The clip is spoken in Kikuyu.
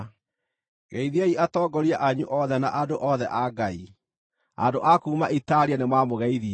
Geithiai atongoria anyu othe na andũ othe, a Ngai. Andũ a kuuma Italia nĩmamũgeithia.